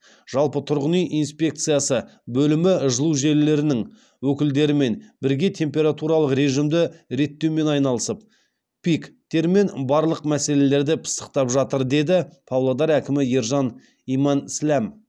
жалпы тұрғын үй инспекциясы бөлімі жылу желілерінің өкілдерімен бірге температуралық режимді реттеумен айналысып пик термен барлық мәселелерді пысықтап жатыр деді павлодар әкімі ержан имансләм